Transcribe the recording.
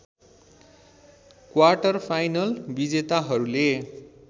quarter-final विजेताहरूले